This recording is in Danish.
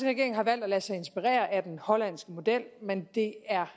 regering har valgt at lade sig inspirere af den hollandske model men det er